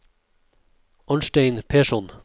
Arnstein Persson